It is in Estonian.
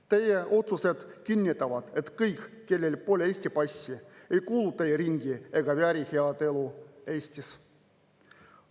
Teie otsused kinnitavad, et kõik, kellel pole Eesti passi, ei kuulu teie ringi ega vääri head elu Eestis.